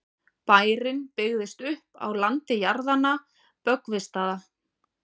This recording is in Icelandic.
bærinn byggðist upp á landi jarðanna böggvisstaða